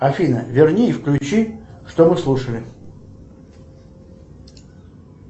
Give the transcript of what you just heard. афина верни и включи что мы слушали